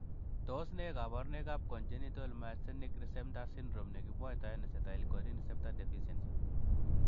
Tos nee koborunoikab Congenital myasthenic syndrome nekimwoitoen acetylcholine receptor deficiency?